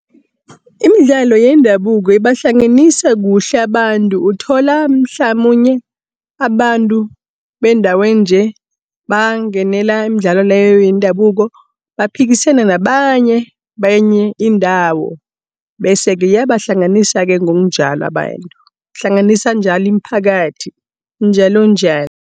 Imidlalo yendabuko ibahlanganisa kuhle abantu, uthola mhlamunye abantu bendaweninje, bangenela imidlalo leyo yendabuko. Baphikisana nabanye, benye indawo. Bese-ke iyabahlanganisa-ke ngokunjalo abantu. Ihlanganisa njalo imiphakathi njalonjalo.